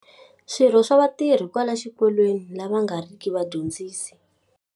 Swirho swa vatirhi kwala xikolweni lava va nga ri ki vadyondzisi.